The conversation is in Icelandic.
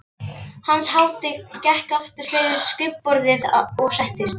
Hans hátign gekk aftur fyrir skrifborðið og settist.